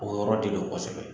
O yɔrɔ de don kosɛbɛ.